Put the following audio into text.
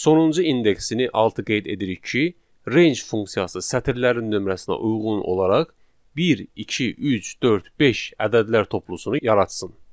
Sonuncu indeksini altı qeyd edirik ki, range funksiyası sətirlərin nömrəsinə uyğun olaraq bir, iki, üç, dörd, beş ədədlər toplusunu yaratsın.